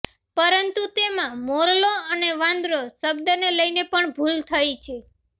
પરંતુ તેમાં મોરલો અને વાંદરો શબ્દને લઇને પણ ભૂલ થઇ છે